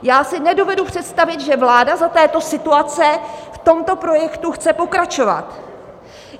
Já si nedovedu představit, že vláda za této situace v tomto projektu chce pokračovat.